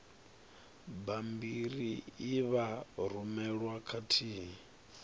bammbiri e vha rumelwa khathihi